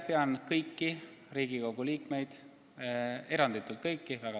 Pean kõiki Riigikogu liikmeid – eranditult kõiki!